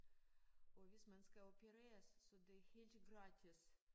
Og hvis man skal opereres så det helt gratis